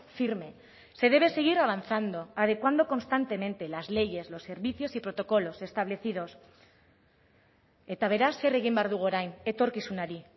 firme se debe seguir avanzando adecuando constantemente las leyes los servicios y protocolos establecidos eta beraz zer egin behar dugu orain etorkizunari